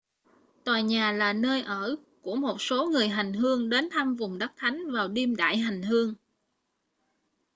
tòa nhà là nơi ở của một số người hành hương đến thăm vùng đất thánh vào đêm đại hành hương